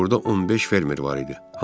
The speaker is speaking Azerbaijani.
Burada 15 fermer var idi.